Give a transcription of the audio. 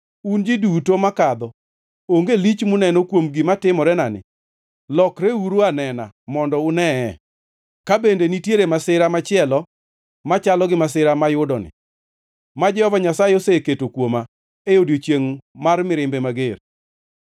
Un ji duto makadho, onge lich muneno kuom gima timorenani? Lokreuru anena mondo unee, ka bende nitiere masira machielo machalo gi masira moyudani, ma Jehova Nyasaye oseketo kuoma e odiechiengʼ mar mirimbe mager?